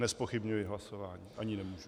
Nezpochybňuji hlasování, ani nemůžu.